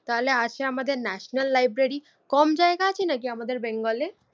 তাহলে আছে আমাদের ন্যাশনাল লাইব্রেরি। কম জায়গা আছে নাকি আমাদের বেঙ্গলে